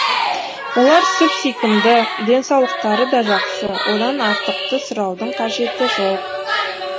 олар сүп сүйкімді денсаулықтары да жақсы одан артықты сұраудың да қажеті жоқ